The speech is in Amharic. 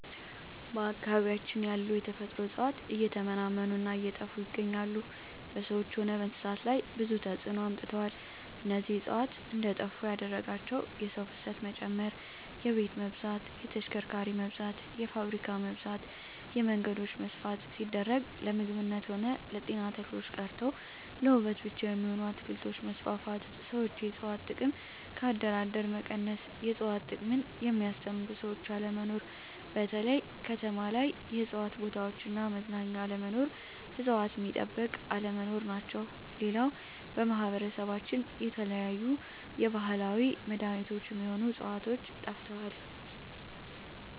በአካባቢያችን ያሉ የተፈጥሮ እጽዋት እየተመናመኑ እና እየጠፋ ይገኛሉ በሰዎች ሆነ በእንስሳት ላይ ብዙ ተጽዕኖ አምጥተዋል እነዚህ እጽዋት እንዴጠፋ ያደረጋቸው የሰው ፋሰት መጨመር የቤት መብዛት የተሽከርካሪ መብዛት የፋብሪካ መብዛት የመንገዶች መስፍን ሲደረግ ለምግብነት ሆነ ለጤና ተክሎች ቀርተው ለዉበት ብቻ የሚሆኑ አትክልቶች መስፋፋት ሠዎች የእጽዋት ጥቅም ከአደር አደር መቀነስ የእጽዋት ጥቅምን የሚያስተምሩ ሰዎች አለመኖር በተለይ ከተማ ላይ የእጽዋት ቦታዎች እና መዝናኛ አለመኖር እጽዋት ሚጠበቅ አለመኖር ናቸው ሌላው በማህበረሰባችን የተለያዩ የባህላዊ መዳኔቾች ሚሆኑ ህጽዋቾች ጠፍተዋል